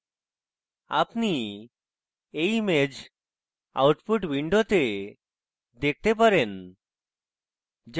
আপনি you image output window দেখতে পারেন